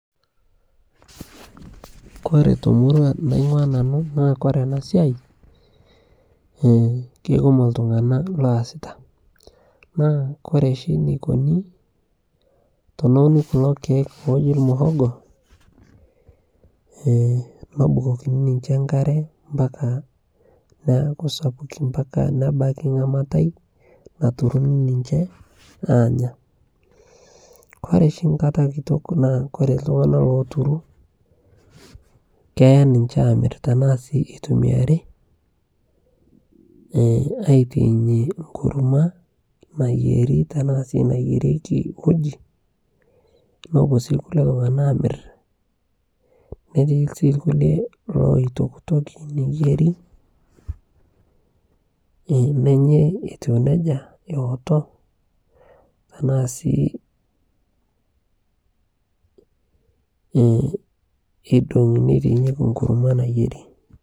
kore to murua naingua nanuu naa kore anaa siai keikumoo ltunganaa loasitaa naa kore shi neikonii tonounii kuloo keek lojii lmuhogoo nobukokinii ninje nkaree mpakaa neakuu sapukin mpakaa nebakii nghamatai naturunii ninjee aanya kore shi nkataa kitok naa kore ltunganaa loturuu keyaa ninshee amir tanaa sii eitumiarii aitainyee nkurumua nayerie tanaa sii nayeriekii uji nopuo sii lkulie tunganaa amir netii sii lkulie loitoktokie neyerii nenyai etuu nejaa ewotoo tanaa sii eidongii neitainyekii nkurumua nayerii